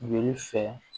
Joli fɛ